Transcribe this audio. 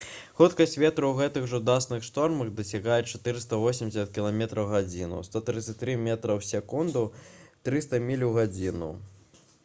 хуткасць ветру ў гэтых жудасных штормах дасягае 480 км/г 133 м/с; 300 міль у гадзіну